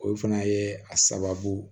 O fana ye a sababu